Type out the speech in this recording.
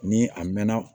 Ni a mɛnna